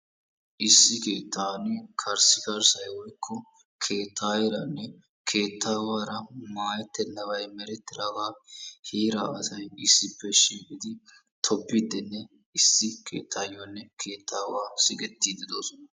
Issi keettan karissikarssay woykko keettaayeeranne keettaawaara maayettennabay merettiraaga heera asay issippe shiiqqidi tobbiidinne issi keettaayiyonne keettaawa siggettidi de'oosona.